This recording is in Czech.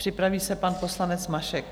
Připraví se pan poslanec Mašek.